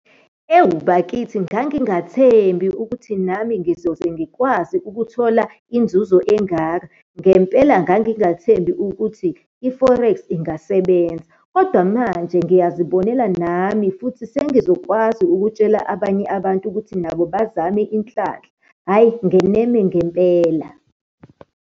Ewu, bakithi ngangingathembi ukuthi nami ngizoze ngikwazi ukuthola inzuzo engaka. Ngempela ngangingathembi ukuthi i-forex ingasebenza. Kodwa manje ngiyazibonela nami, futhi sengizokwazi ukutshela abanye abantu ukuthi nabo bazame inhlanhla. Hhayi, ngeneme ngempela.